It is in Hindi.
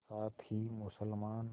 साथ ही मुसलमान